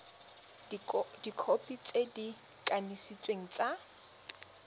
dikhopi tse di kanisitsweng tsa